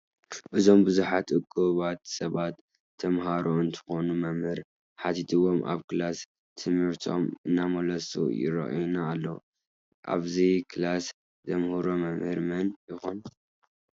እዞም ቡዙሓት እኩባት ሰብ ተማሃሩ እንትኮኑ መምህር ሓቲትዎም ኣብ ክላስ ትምህርቶም እንዳተመለሱ ይረአዩና ኣለዉ። ኣብዚ ክላስ ዘምህሮም መምህር መን ይኮን?